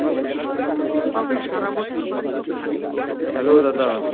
Hello, দাদা।